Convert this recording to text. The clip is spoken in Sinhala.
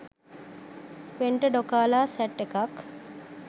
වෙන්ට ඩොකාලා සැට් එකක්